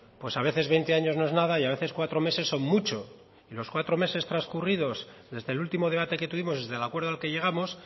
pues a veces veinte años no es nada y a veces cuatro meses son mucho y los cuatro meses transcurridos desde el último debate que tuvimos desde el acuerdo al que llegamos